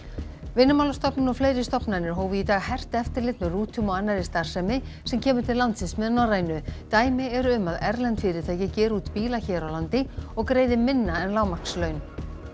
Vinnumálastofnun og fleiri stofnanir hófu í dag hert eftirlit með rútum og annarri starfsemi sem kemur til landsins með Norrænu dæmi eru um að erlend fyrirtæki geri út bíla hér á landi og greiði minna en lágmarkslaun